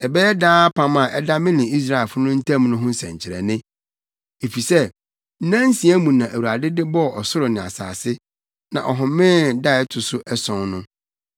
Ɛbɛyɛ daa apam a ɛda me ne Israelfo ntam no ho nsɛnkyerɛnne. Efisɛ nnansia mu na Awurade de bɔɔ ɔsoro ne asase, na ɔhomee da a ɛto so ason no.’ ”